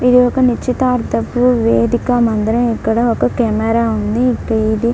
ఇది ఒక నిశ్చితార్థపు వేదిక మందిరం. ఇక్కడ ఒక కెమెరా ఉంది. ఇంకా ఇది--